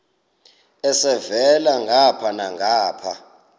elhavela ngapha nangapha